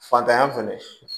Fantanya fɛnɛ